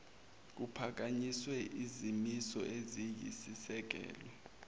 kuphakanyiswe izimiso eziyisisekelo